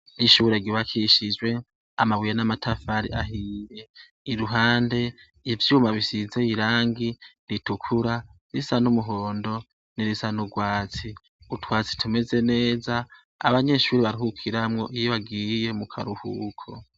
Ishure ryubakishijwe amabuye n'amatafari ahiye iruhande ivyuma bisize irangi ritukura irisa numuhondo nirisa nurwatsi. Utwatsi tuleze neza abanyeshure baruhukiramwo iyo bagiye mukaruhuko.